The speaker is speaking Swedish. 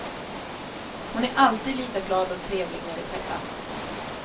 Hon är alltid lika glad och trevlig när vi träffas.